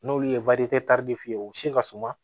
N'olu ye ye u se ka suma